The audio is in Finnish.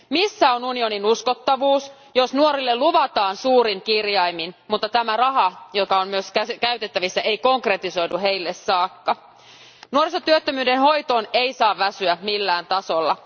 Missä on unionin uskottavuus, jos nuorille luvataan suurin kirjaimin, mutta tämä raha, joka on myös käytettävissä, ei konkretisoidu heille saakka? Nuorisotyöttömyyden hoitoon ei saa väsyä millään tasolla.